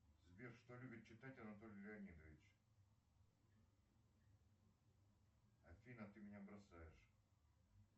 сбер что любит читать анатолий леонидович афина ты меня бросаешь